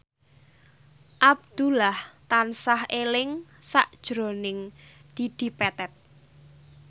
Abdullah tansah eling sakjroning Dedi Petet